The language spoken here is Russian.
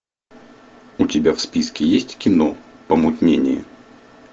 у тебя в списке есть кино помутнение